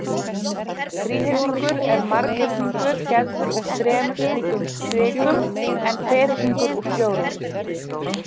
Þríhyrningur er marghyrningur gerður úr þremur slíkum strikum en ferhyrningur úr fjórum.